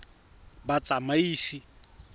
batsamaisi